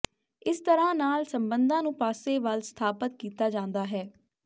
ਇਸ ਤਰ੍ਹਾਂ ਨਾਲ ਸਬੰਧਾਂ ਨੂੰ ਪਾਸੇ ਵੱਲ ਸਥਾਪਤ ਕੀਤਾ ਜਾਂਦਾ ਹੈ